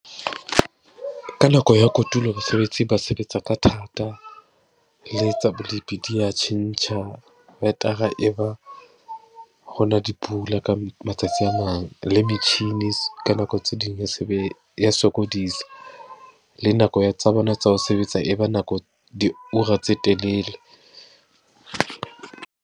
Ka nako ya kotulo, basebetsi ba sebetsa ka thata, lpe tsa bolipi di ya tjhentjha, wetara e ba hona dipula ka matsatsi tse mang. Le metjhini ka nako tse ding e ya sokodisa, le nako ya tsa bona tsa ho sebetsa e ba nako diura tse telele.